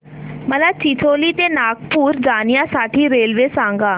मला चिचोली ते नागपूर जाण्या साठी रेल्वे सांगा